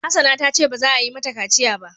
Hassana ta ce ba za a yi mata kaciya ba.